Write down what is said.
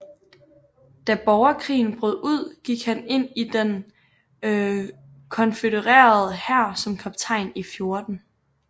Da borgerkrigen brød ud gik han ind i den konfødererede hær som kaptajn i 14